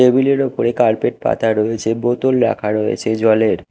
টেবিলের উপরে কার্পেট পাতা রয়েছে বোতল রাখা রয়েছে জলের।